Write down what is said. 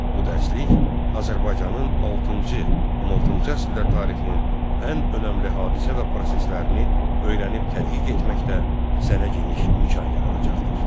Bu dərslik Azərbaycanın VI-XVI əsrlər tarixinin ən önəmli hadisə və proseslərini öyrənib tədqiq etməkdə sənə geniş imkan yaradacaqdır.